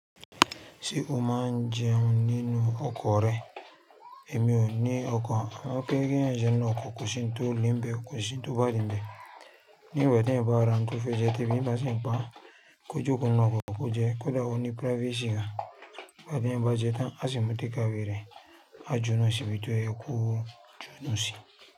Ṣé o máa ń jẹun nínú ọkọ̀ rẹ? Èmi ò ní ọkọ̀ àmọ́ pé kí ń jẹun ní ọkọ̀ kò sì ń tó limbe, kò sì ń tó badinbẹ̀. Ní ìgbà tí ń bá ra ń to fẹ́ jẹ́, te bí ń bá sì ń kpá kójokonu ọkọ̀ kò jẹ́, kódà ó ní privacy gan. Bátí ẹ̀ ń ba jẹ́ tán, a ṣì mú takeaway re á ju nu ṣì bí i tó ẹ kú ju nu ṣì.